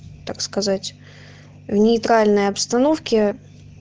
так сказать в нейтральной обстановке